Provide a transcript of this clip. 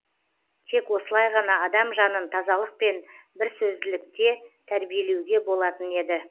тек осылай ғана адам жанын тазалық пен бірсөзділікте тәрбиелеуге болатын еді